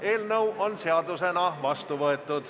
Eelnõu on seadusena vastu võetud.